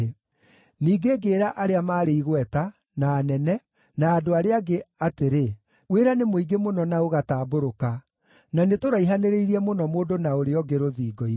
Ningĩ ngĩĩra arĩa maarĩ igweta, na anene, na andũ arĩa angĩ atĩrĩ, “Wĩra nĩ mũingĩ mũno na ũgatambũrũka, na nĩtũraihanĩrĩirie mũno mũndũ na ũrĩa ũngĩ rũthingo-inĩ.